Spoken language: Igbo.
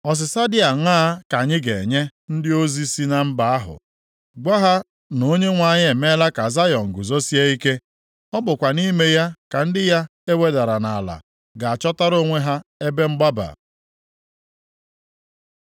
Ọsịsa dị aṅaa ka anyị ga-enye ndị ozi si na mba ahụ? Gwa ha na Onyenwe anyị emeela ka Zayọn guzosie ike. Ọ bụkwa nʼime ya ka ndị ya e wedara nʼala ga-achọtara onwe ha ebe mgbaba.